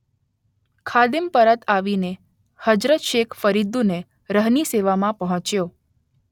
ખાદિમ પરત આવીને હઝરત શેખ ફરીદુદ્દીન રહની સેવામાં પહોંચ્યો